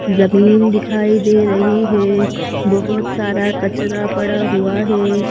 जमीन दिखाई दे रही है बहुत सारा कचरा पड़ा हुआ है।